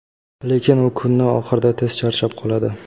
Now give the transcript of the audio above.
lekin u kunni oxirida tez charchab qoladi.